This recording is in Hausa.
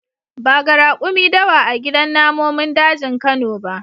Ba ga rakumi dawa a gidan namomin dajin kano ba.